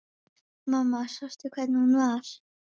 Mamma sástu hvernig hún var?